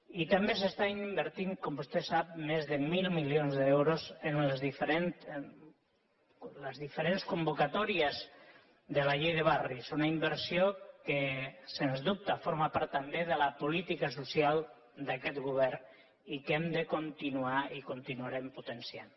i també s’està invertint com vostè sap més de mil milions d’euros en les diferents convocatòries de la llei de barris una inversió que sens dubte forma part també de la política social d’aquest govern i que hem de continuar i continuarem potenciant